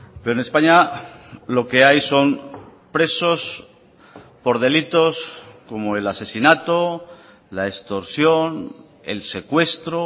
pero en españa lo que hay son presos por delitos como el asesinato la extorsión el secuestro